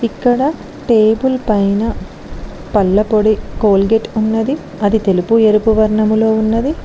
ఇక్కడ టేబుల్ పైన పళ్ళపొడి కోల్గేట్ ఉన్నది అది తెలుపు ఎరుపు వర్ణములో ఉన్నది.